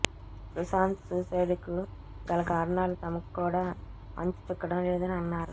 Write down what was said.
Sushant suicide కు గల కారణాలు తమకు కూడా అంతుచిక్కడం లేదని అన్నారు